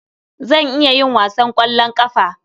Zan iya yin wasan ƙwallon ƙafa.